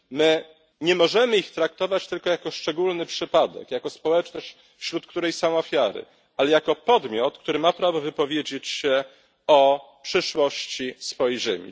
My nie możemy ich traktować tylko jako szczególny przypadek, jako społeczność, wśród której są ofiary, ale jako podmiot, który ma prawo wypowiedzieć się o przyszłości swojej ziemi.